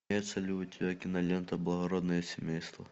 имеется ли у тебя кинолента благородное семейство